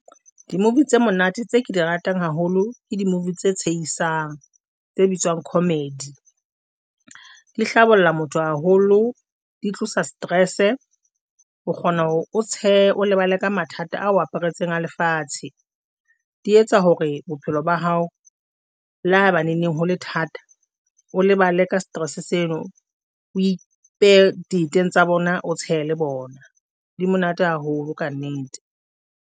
Di-movie tse monate tse ke di ratang haholo, ke di-movie tse tshehisang, tse bitswang comedy di hlabolla motho haholo, di tlosa stress-e. O kgona hore o tshehe o lebale ka mathata ao aparetseng a lefatshe, di etsa hore bophelo ba hao le ha eba neneng hole thata o lebale ka stress seno, o ipehe dieteng tsa bona, o tshehe le bona di monate haholo kannete.